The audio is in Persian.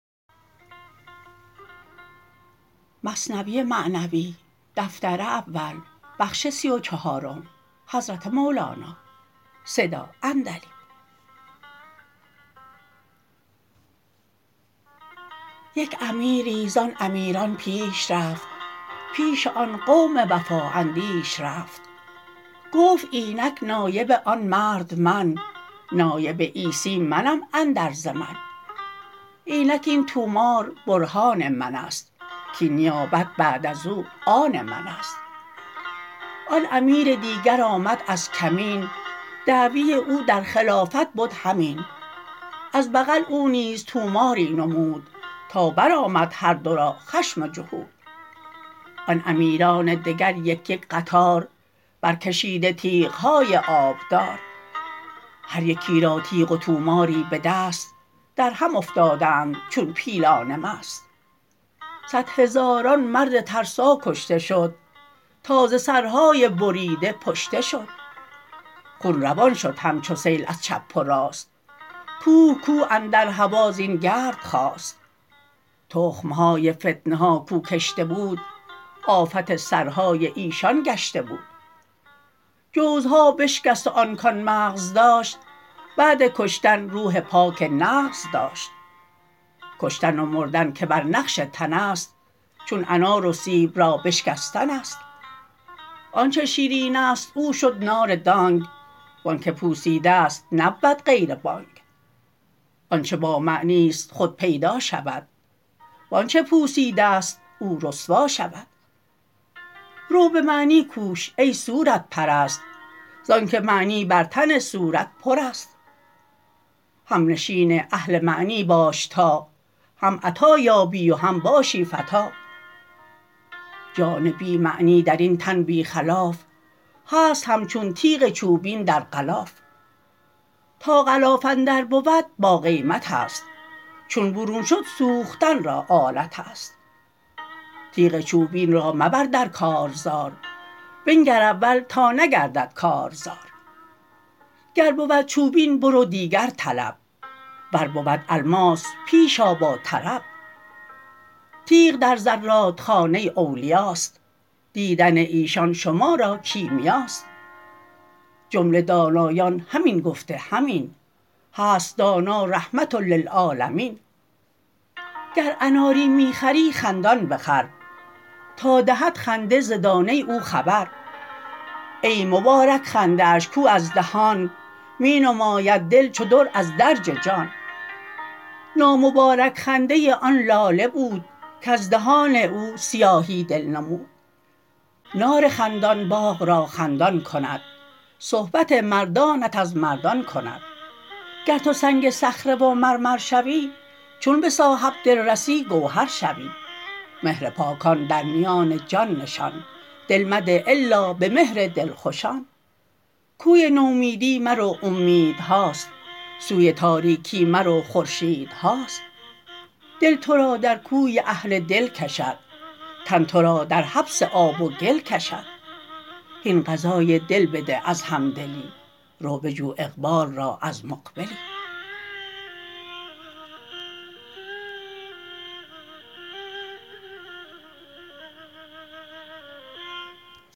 یک امیری زان امیران پیش رفت پیش آن قوم وفا اندیش رفت گفت اینک نایب آن مرد من نایب عیسی منم اندر زمن اینک این طومار برهان منست کین نیابت بعد ازو آن منست آن امیر دیگر آمد از کمین دعوی او در خلافت بد همین از بغل او نیز طوماری نمود تا برآمد هر دو را خشم جهود آن امیران دگر یک یک قطار برکشیده تیغهای آبدار هر یکی را تیغ و طوماری به دست درهم افتادند چون پیلان مست صد هزاران مرد ترسا کشته شد تا ز سرهای بریده پشته شد خون روان شد همچو سیل از چپ و راست کوه کوه اندر هوا زین گرد خاست تخم های فتنه ها کو کشته بود آفت سرهای ایشان گشته بود جوزها بشکست و آن کان مغز داشت بعد کشتن روح پاک نغز داشت کشتن و مردن که بر نقش تنست چون انار و سیب را بشکستنست آنچ شیرینست او شد ناردانگ وانک پوسیده ست نبود غیر بانگ آنچ با معنیست خود پیدا شود وانچ پوسیده ست او رسوا شود رو بمعنی کوش ای صورت پرست زانک معنی بر تن صورت پرست همنشین اهل معنی باش تا هم عطا یابی و هم باشی فتیٰ جان بی معنی درین تن بی خلاف هست همچون تیغ چوبین در غلاف تا غلاف اندر بود باقیمتست چون برون شد سوختن را آلتست تیغ چوبین را مبر در کارزار بنگر اول تا نگردد کار زار گر بود چوبین برو دیگر طلب ور بود الماس پیش آ با طرب تیغ در زرادخانه اولیاست دیدن ایشان شما را کیمیاست جمله دانایان همین گفته همین هست دانا رحمة للعالمین گر اناری می خری خندان بخر تا دهد خنده ز دانه او خبر ای مبارک خنده اش کو از دهان می نماید دل چو در از درج جان نامبارک خنده آن لاله بود کز دهان او سیاهی دل نمود نار خندان باغ را خندان کند صحبت مردانت از مردان کند گر تو سنگ صخره و مرمر شوی چون به صاحب دل رسی گوهر شوی مهر پاکان درمیان جان نشان دل مده الا به مهر دلخوشان کوی نومیدی مرو اومیدهاست سوی تاریکی مرو خورشیدهاست دل ترا در کوی اهل دل کشد تن ترا در حبس آب و گل کشد هین غذای دل بده از همدلی رو بجو اقبال را از مقبلی